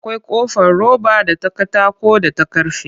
Akwai ƙofar roba da ta katako da ta karfe